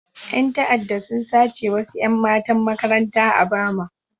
Yan ta'adda sun sace wasu 'yan matan makaranta a Bama.